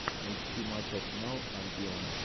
найти матч арсенал альбион